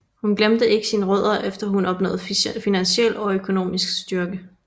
Hun glemte ikke sine rødder efter hun opnåede finansiel og økonomisk styrke